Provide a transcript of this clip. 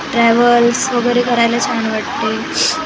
travels वगेरे करायला छान वाटतंय --